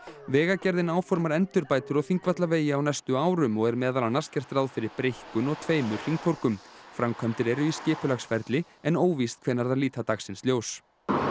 vegagerðin áformar endurbætur á Þingvallavegi á næstu árum og er meðal annars gert ráð fyrir breikkun og tveimur hringtorgum framkvæmdir eru í skipulagsferli en óvíst hvenær þær líta dagsins ljós